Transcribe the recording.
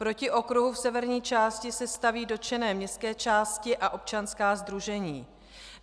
Proti okruhu v severní části se staví dotčené městské části a občanská sdružení.